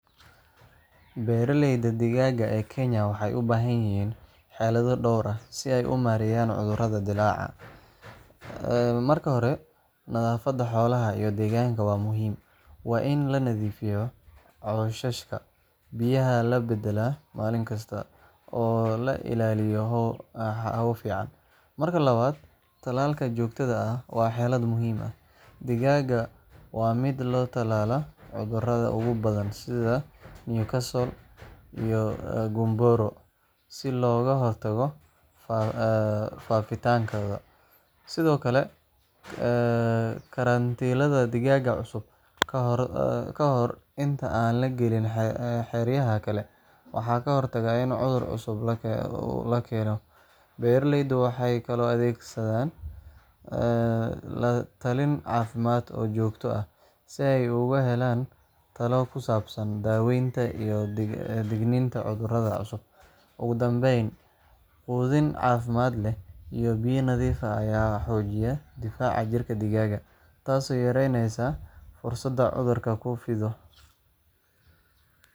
Beeraleyda digaaga ee Kenya waxay u baahan yihiin xeelado dhowr ah si ay u maareeyaan cudurrada dillaaca. Marka hore, nadaafadda xoolaha iyo deegaanka waa muhiim. Waa in la nadiifiyaa cooshashka, biyaha la beddelaa maalin kasta, oo la ilaaliyo hawo fiican. Marka labaad, tallaalka joogtada ah waa xeelad muhiim ah. Digaaga waa in loo talaalaa cudurrada ugu badan sida Newcastle iyo Gumboro si looga hortago faafitaankooda. Sidoo kale, karantiilidda digaagga cusub ka hor inta aan la gelin xeryaha kale waxay ka hortagtaa in cudur cusub la keeno. Beeraleydu waxay kaloo adeegsadaan la-talin caafimaad oo joogto ah, si ay uga helaan talo ku saabsan daaweynta iyo digniinaha cudurrada cusub. Ugu dambeyn, quudin caafimaad leh iyo biyo nadiif ah ayaa xoojiya difaaca jirka digaagga, taasoo yareyneysa fursadda cudurku ku fido.